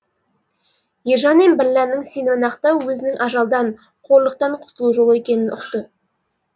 ержан мен бірләннің сенімін ақтау өзінің ажалдан қорлықтан құтылу жолы екенін ұқты